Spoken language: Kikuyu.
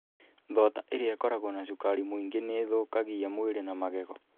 Thonda iria ikoragwo na cukari mũingĩ nĩ ithũkagia mwĩrĩ na magego.